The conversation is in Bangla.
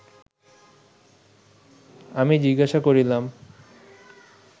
আমি জিজ্ঞাসা করিলাম